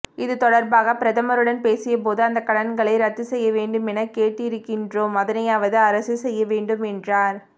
இது தொடர்பாக பிரதமருடன் பேசியபோது அந்த கடன்களை இரத்து செய்யவேண்டும் என கேட்டிருக்கின்றோம் அதனையாவது அரசு செய்யவேண்டும் என்றார்